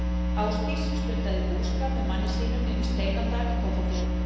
Ásdís stundaði búskap með manni sínum inni í Steinadal í Kollafirði.